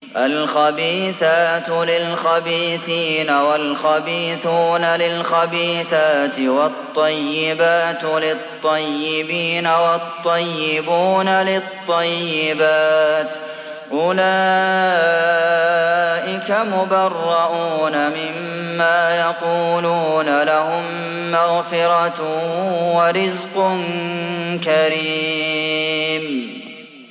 الْخَبِيثَاتُ لِلْخَبِيثِينَ وَالْخَبِيثُونَ لِلْخَبِيثَاتِ ۖ وَالطَّيِّبَاتُ لِلطَّيِّبِينَ وَالطَّيِّبُونَ لِلطَّيِّبَاتِ ۚ أُولَٰئِكَ مُبَرَّءُونَ مِمَّا يَقُولُونَ ۖ لَهُم مَّغْفِرَةٌ وَرِزْقٌ كَرِيمٌ